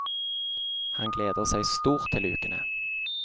Han gleder seg stort til ukene.